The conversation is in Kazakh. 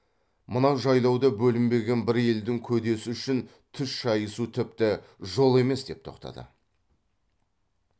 мына жайлауда бөлінбеген бір елдің көдесі үшін түс шайысу тіпті жол емес деп тоқтады